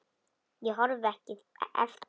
Ég horfi ekki eftir þér.